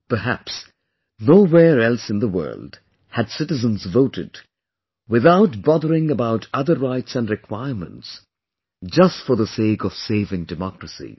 Perhaps, nowhere else in the world had citizens voted, without bothering about other rights & requirements, just for the sake of saving democracy